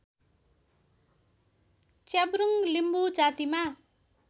च्याब्रुङ्ग लिम्बू जातिमा